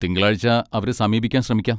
തിങ്കളാഴ്ച അവരെ സമീപിക്കാൻ ശ്രമിക്കാം.